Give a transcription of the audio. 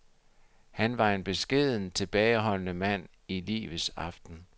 Han var en beskeden, tilbageholdende mand i livets aften.